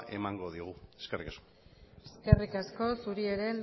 emango diogu eskerrik asko eskerrik asko zuri ere